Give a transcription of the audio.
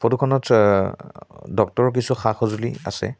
ফটোখনত চ ডক্টৰৰ কিছু সা-সজুলি আছে।